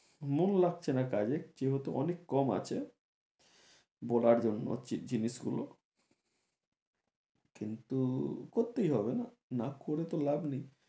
মন লাগছে না কাজে যেহেতু অনেক কম আছে বলার জন্য জি~ জিনিস গুলো কিন্তু করতেই হবে না করে তো লাভ নেই